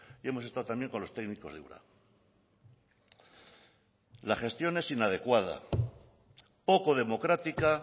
y hemos estado también con los técnicos de ura la gestión es inadecuada poco democrática